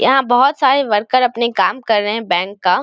यहां बहुत सारे वर्कर अपना काम कर रहे हैं बैंक का।